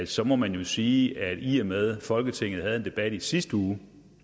så må man jo sige at i og med at folketinget havde en debat i sidste uge